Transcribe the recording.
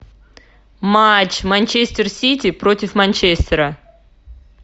матч манчестер сити против манчестера